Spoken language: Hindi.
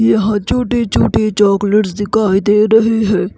यहां छोटे-छोटे चॉकलेट्स दिखाई दे रहे हैं।